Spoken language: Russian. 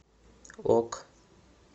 ок